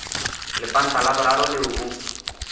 lepanta la boraro leo o